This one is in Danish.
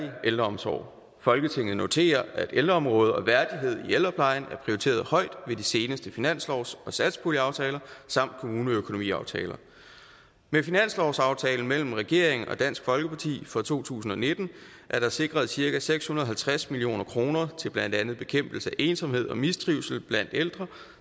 ældreomsorg folketinget noterer at ældreområdet og værdighed i ældreplejen er prioriteret højt ved de seneste finanslovs og satspuljeaftaler samt kommuneøkonomiaftaler med finanslovsaftalen mellem regeringen og dansk folkeparti for to tusind og nitten er der sikret cirka seks hundrede og halvtreds million kroner til blandt andet bekæmpelse af ensomhed og mistrivsel blandt ældre